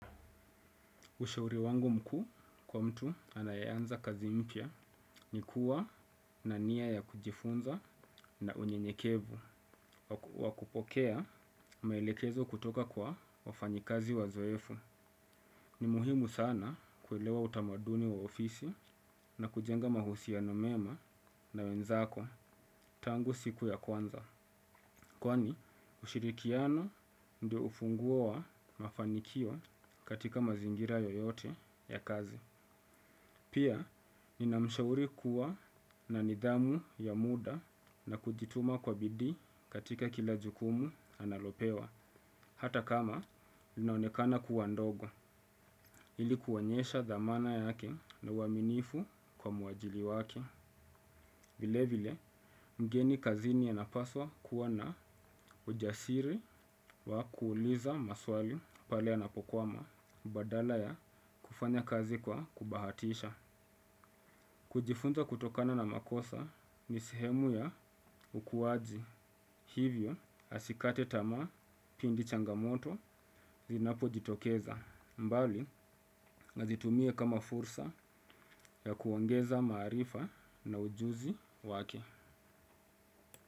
Ushauri wangu mkuu kwa mtu anaeanza kazi mpya ni kuwa na nia ya kujifunza na unye nyekevu. Wakupokea maelekezo kutoka kwa wafanyakazi wazoefu. Ni muhimu sana kuelewa utamaduni wa ofisi na kujenga mahusiano mema na wenzako tangu siku ya kwanza. Kwani ushirikiano ndio ufunguo wa mafanikio katika mazingira yoyote ya kazi. Pia, nina mshauri kuwa na nidhamu ya muda na kujituma kwa bidi katika kila jukumu analopewa. Hata kama, ninaonekana kuwa ndogo, ilikuonyesha dhamana yake na uaminifu kwa muajiri wake. Vilevile, mgeni kazini anapaswa kuwa na ujasiri wa kuuliza maswali pale yanapo kwa ma, badala ya kufanya kazi kwa kubahatisha. Kujifunza kutokana na makosa nisehemu ya ukuwaji hivyo asikate tamaa pindi changamoto zinapo jitokeza mbali azitumie kama fursa ya kuongeza maarifa na ujuzi wake.